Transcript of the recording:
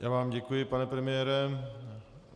Já vám děkuji, pane premiére.